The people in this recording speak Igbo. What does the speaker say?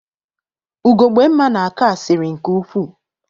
Ugogbemma na-akọ asịrị nke ukwuu.